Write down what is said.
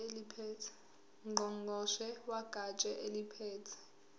ngqongqoshe wegatsha eliphethe